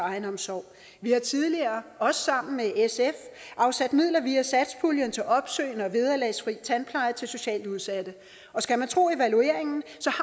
egenomsorg vi har tidligere også sammen med sf afsat midler via satspuljen til opsøgende og vederlagsfri tandpleje til socialt udsatte og skal man tro evalueringen